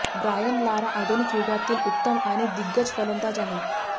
Brian Lara आधुनिक युगातील उत्तम आणि दिग्गज फलंदाज आहे